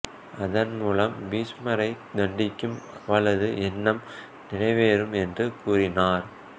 அதன் மூலம் பீஷ்மரைத் தண்டிக்கும் அவளது எண்ணம் நிறைவேறும் என்று கூறினார்